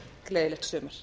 gleðilegt sumar